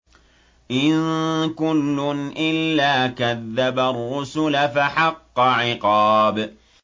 إِن كُلٌّ إِلَّا كَذَّبَ الرُّسُلَ فَحَقَّ عِقَابِ